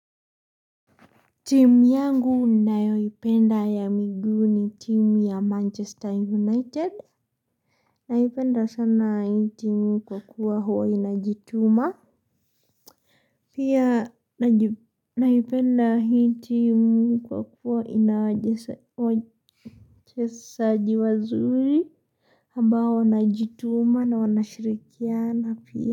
Timu yangu ninayoipenda ya miigu ni timu ya manchester united Naipenda sana hii timu kwa kuwa huwa inajituma Pia naipenda hii timu kwa kuwa ina wachesaji wazuri ambao wanajituma na wanashirikiana pia.